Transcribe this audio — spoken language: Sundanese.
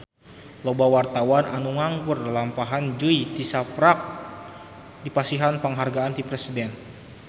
Loba wartawan anu ngaguar lalampahan Jui tisaprak dipasihan panghargaan ti Presiden